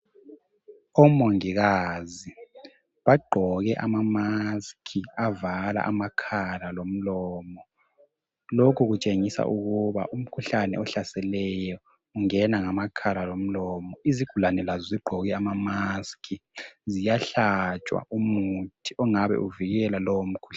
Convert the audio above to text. OMongikazi bagqoke ama mask avala amakhala lomlomo. Lokhu kutshengisa ukuba umkhuhlane ohlaseleyo ungena ngamakhala lomlomo. Izigulane lazo zigqoke ama mask ziyahlatshwa umuthi ongabe uvikela lowo mkhuhlane.